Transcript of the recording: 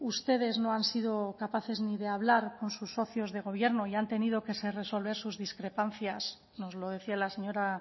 ustedes no han sido capaces ni de hablar con sus socios de gobierno y han tenido que resolver sus discrepancias nos lo decía la señora